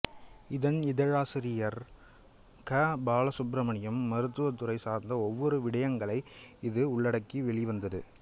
இதன் இதழாசிரியர் க பாலசுப்ரமணியம் மருத்துவத்துறை சார்ந்த ஒவ்வொரு விடயங்களை இது உள்ளடக்கி வெளிவந்தது